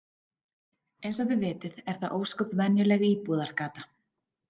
Eins og þið vitið er það ósköp venjuleg íbúðargata.